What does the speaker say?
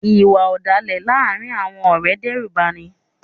Iwạ ọdalẹ laarin awọn ọrẹ ǹ dẹrubani